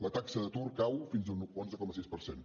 la taxa d’atur cau fins a un onze coma sis per cent